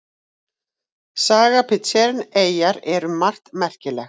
Saga Pitcairn eyjar er um margt merkileg.